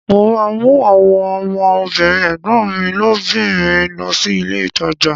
Mo ma mú àwọn ọmọ obìnrin ẹ̀gbọ́n mi obìnrin lọ sí ilé ìtajà